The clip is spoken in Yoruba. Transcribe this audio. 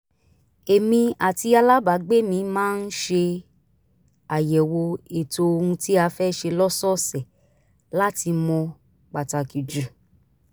èmi àti alábàágbé mi máa ń ṣe àyẹ̀wò ètò ohun tí a fẹ́ ṣe lọ́sọ̀ọ̀sẹ̀ láti mọ pàtàkì jù